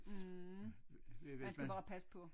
Mh man skal bare passe på